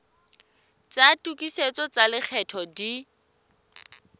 tsa tokisetso tsa lekgetho di